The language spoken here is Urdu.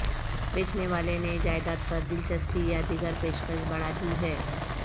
بیچنے والے نے جائیداد پر دلچسپی یا دیگر پیشکش بڑھا دی ہے